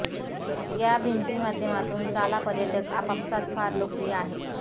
या भिंती माध्यमातून चाला पर्यटक आपापसांत फार लोकप्रिय आहे